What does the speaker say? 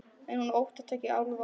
En hún óttast ekki álfa.